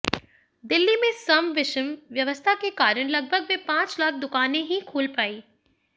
दिल्ली में सम विषम व्यवस्था के कारण लगभग वे पांच लाख दुकानें ही खुल पायीं